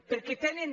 perquè tenen